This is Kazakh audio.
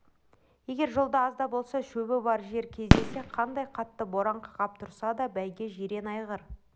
егер жолда аз да болса шөбі бар жер кездессе қандай қатты боран қақап тұрса да бәйге жирен айғыр